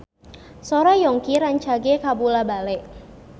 Sora Yongki rancage kabula-bale